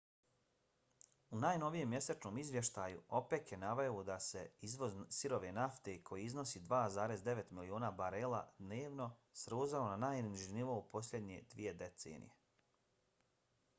u najnovijem mjesečnom izvještaju opec je naveo da se izvoz sirove nafte koji iznosi 2,9 miliona barela dnevno srozao na najniži nivo u posljednje dvije decenije